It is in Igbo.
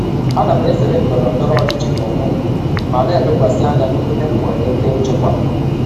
Ana m ezere ndọrọ ndọrọ ọchịchị n'onwe m ma na-elekwasị anya n'ihe m nwere ike ịchịkwa.